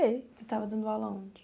estava dando aula onde?